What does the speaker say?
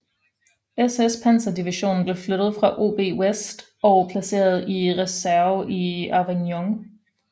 SS panserdivision blev flyttet fra OB West og placeret i reserve i Avignon